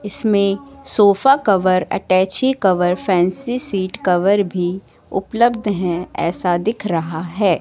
इसमें sofa cover attache cover fancy seat cover भी उपलब्ध हैं ऐसा दिख रहा है।